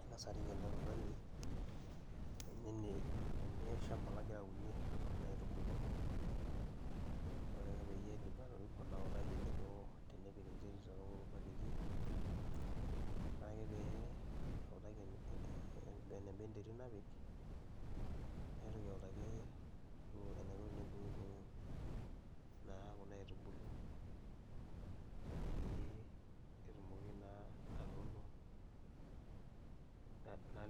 Angasa arik eletungani eleshamba lagira aunie kuna aitubulu, ore ake paidip atoriko naitaki eniko tenepik enterit tokulo baketi ore ake pautaki eneba enterit napik naitoki auttaki eniko peepik kuna aitubulu peyie etumoki naa atuuno